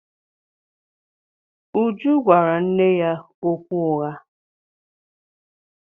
Uju gwara nne ya okwu ụgha.